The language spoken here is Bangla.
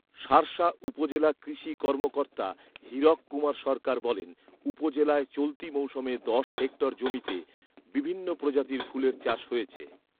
শার্শা উপজেলা কৃষি কর্মকর্তা হীরক কুমার সরকার বলেন, উপজেলায় চলতি মৌসুমে দশ হেক্টর জমিতে বিভিন্ন প্রজাতির ফুলের চাষ হয়েছে